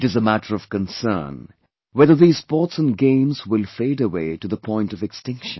It is a matter of concern, whether these sports & games will fade away to the point of extinction